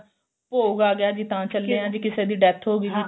ਭੋਗ ਆ ਗਿਆ ਜੀ ਤਾਂ ਚੱਲੇ ਆ ਜੀ ਕਿਸੇ ਦੀ death ਹੋਗੀ ਜੀ ਤਾਂ